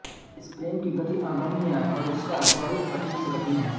इस प्रेम की गति अगम्य है और इसका स्वरुप कठिन से कठिन है